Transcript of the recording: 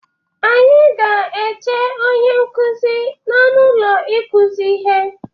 Anyị ga-eche onye nkụzi n'ọnụ ụlọ ikụzi ihe.